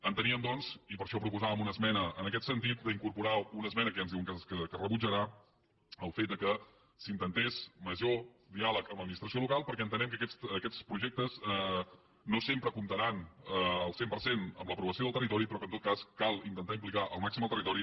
enteníem doncs i per això proposàvem una esmena en aquest sentit d’incorporar una esmena que ja ens diuen que es rebutjarà el fet que s’intentés major diàleg amb l’administració local perquè entenem que aquests projectes no sempre comptaran al cent per cent amb l’aprovació del territori però que en tot cas cal intentar implicar al màxim el territori